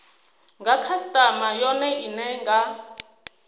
nga khasitama yone ine nga